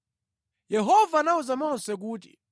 Yehova anawuza Mose kuti,